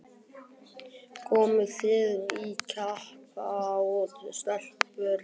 Komið þið í kappát stelpur? það var Fúsi sem bað.